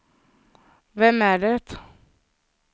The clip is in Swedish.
vem är det